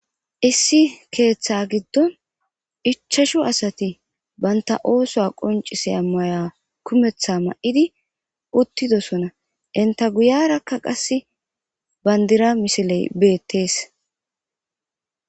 issi keeththa giddon ichashu asati banta ooso qoncise ammaya kumetha ma7idi uttidosona inta guyarakka qasse bandira misiley beettees